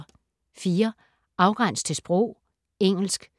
Afgræns til sprog: engelsk